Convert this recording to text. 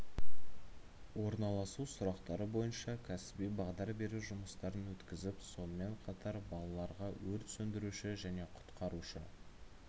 орналасу сұрақтары бойынша кәсіби бағдар беру жұмыстарын өткізіп сонымен қатар балаларға өрт сөндіруші және құтқарушы